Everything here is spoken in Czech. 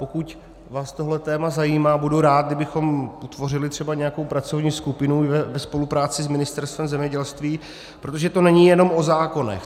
Pokud vás tohle téma zajímá, budu rád, kdybychom utvořili třeba nějakou pracovní skupinu ve spolupráci s Ministerstvem zemědělství, protože to není jenom o zákonech.